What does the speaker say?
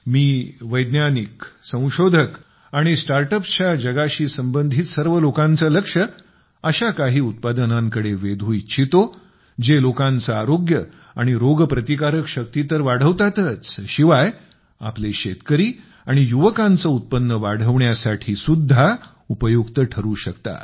मी वैज्ञानिक संशोधक आणि स्टार्ट अप्सच्या जगाशी संबंधित सर्व लोकांचे लक्ष अशा काही उत्पादनांकडे वेधू इच्छितो जे लोकांचे आरोग्य आणि रोगप्रतिकारशक्ती तर वाढवतातच शिवाय आपले शेतकरी आणि युवकांचे उत्पन्न वाढण्यासाठी सुद्धा उपयुक्त ठरु शकतात